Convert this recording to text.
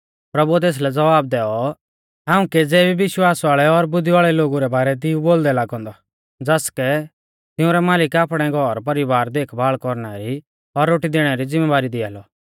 प्रभुऐ तेसलै ज़वाब दैऔ हाऊं केज़ै भी विश्वास वाल़ै और बुद्धी वाल़ै लोगु रै बारै दी ऊ बोलदै लागौ औन्दौ ज़ासकै तिऊंरौ मालिक आपणै घरपरिवारा री देखभाल़ कौरना री और रोटी दैणै री ज़िमैबारी दिआ लौ